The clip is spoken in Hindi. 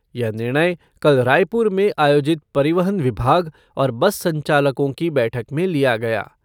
यह निर्णय कल रायपुर में आयोजित परिवहन विभाग और बस संचालकों की बैठक में लिया गया।